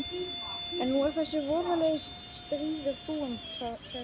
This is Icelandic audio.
En nú er þessi voðalegi stríður búinn, sagði nunnan.